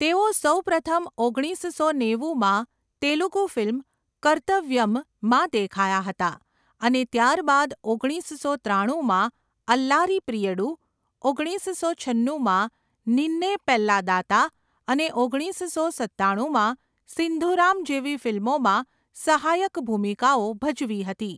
તેઓ સૌ પ્રથમ ઓગણીસસો નેવુંમાં તેલુગુ ફિલ્મ કર્તવ્યમમાં દેખાયા હતા અને ત્યારબાદ ઓગણીસસો ત્રાણુંમાં અલ્લારી પ્રિયડુ, ઓગણીસસો છન્નુંમાં નિન્ને પેલ્લાદાતા અને ઓગણીસસો સત્તાણુંમાં સિંધુરામ જેવી ફિલ્મોમાં સહાયક ભૂમિકાઓ ભજવી હતી